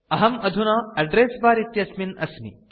अहम् अधुना address bar इत्यस्मिन् अस्मि